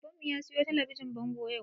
Baban mu ya siyo talabijin bango yau